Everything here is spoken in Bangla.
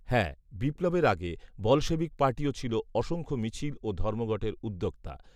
হ্যাঁ, বিপ্লবের আগে বলশেভিক পার্টিও ছিল অসংখ্য মিছিল ও ধর্মঘটের উদ্যোক্তা